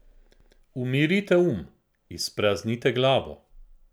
Umirite um, izpraznite glavo.